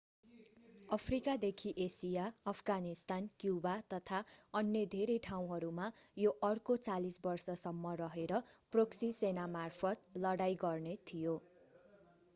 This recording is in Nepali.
अफ्रिका देखि एसिया अफगानिस्तान क्युबा तथा अन्य धेरै ठाउँहरूमा यो अर्को 40 बर्ष सम्म रहेर प्रोक्सी सेनामार्फत लडाईं गर्ने थियो